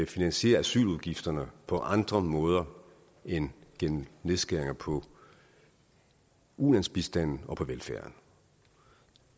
finansiere asyludgifterne på andre måder end gennem nedskæringer på ulandsbistanden og på velfærden